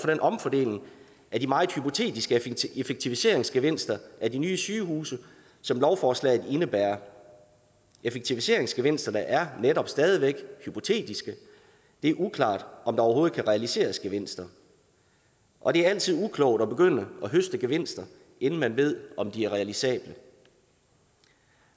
den omfordeling af de meget hypotetiske effektiviseringsgevinster af de nye sygehuse som lovforslaget indebærer effektiviseringsgevinsterne er netop stadig væk hypotetiske det er uklart om der overhovedet kan realiseres gevinster og det er altid uklogt at begynde at høste gevinster inden man ved om de er realisable